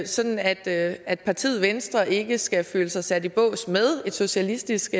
sådan at at partiet venstre ikke skal føle sig sat i bås med et socialistisk